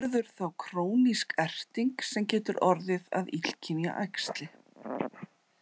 Verður þá krónísk erting sem getur orðið að illkynja æxli.